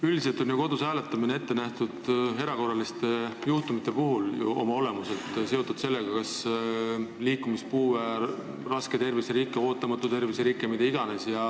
Üldiselt on ju kodus hääletamine oma olemuselt ette nähtud erakorraliste juhtumite puhuks, see on seotud sellega, kui on kas liikumispuue, raske terviserike, ootamatu terviserike või mida iganes.